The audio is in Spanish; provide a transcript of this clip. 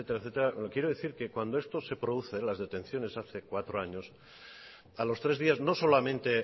etcétera etcétera le quiero decir que cuando esto se produce las detenciones hace cuatro años a los tres días no solamente